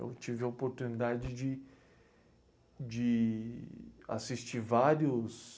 Eu tive a oportunidade de, de assistir vários...